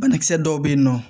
Banakisɛ dɔw bɛ yen nɔ